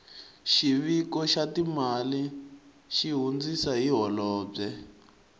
xiviko xa timali xi hundzisa hi holobye